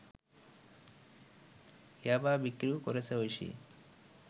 ইয়াবা বিক্রিও করেছে ঐশী